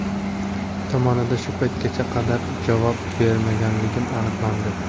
tomonidan shu paytga qadar javob berilmaganligi aniqlandi.